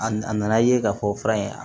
A na a nana ye k'a fɔ fura in